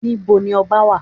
Níbo ni ọba wà?